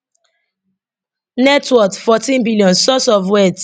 net worth fourteen billion source of wealth